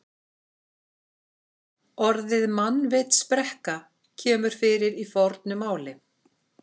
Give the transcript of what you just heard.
Orðið mannvitsbrekka kemur fyrir í fornu máli.